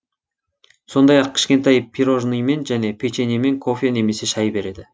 сондай ақ кішкентай пирожныймен және печеньемен кофе немесе шай береді